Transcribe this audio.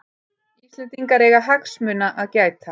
Íslendingar eiga hagsmuna að gæta